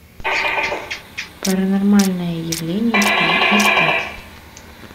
паранормальное явление три искать